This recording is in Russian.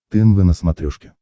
тнв на смотрешке